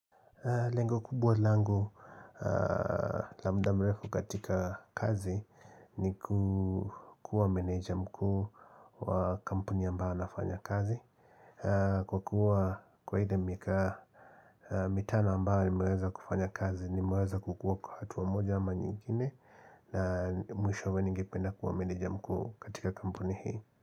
Lengo kubwa langu labda mrefu katika kazi ni ku kuwa meneja mkuu wa kampuni ambao nafanya kazi. Kwa kuwa kwa ile miaka mitano ambao nimeweza kufanya kazi nimeweza kukuwa kwa hatua moja ama nyingine na mwisho we ningipenda kuwa meneja mkuu katika kampuni hii.